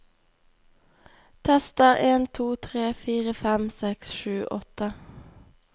Tester en to tre fire fem seks sju åtte